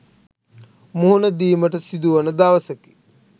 මුහුණ දීමට සිදුවන දවසකි.